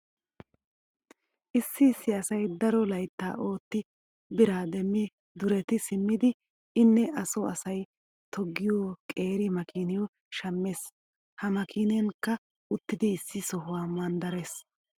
Issi issi asay daro layttaa ootti biraa demmi dureti simmidi inne A so asay toggiyo qeeri makiiniyo shammees. He makiinenkka uttidi issi sohuwa manddarees.